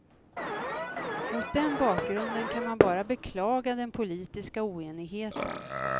Mot den bakgrunden kan man bara beklaga den politiska oenigheten.